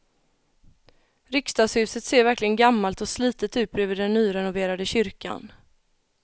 Riksdagshuset ser verkligen gammalt och slitet ut bredvid den nyrenoverade kyrkan.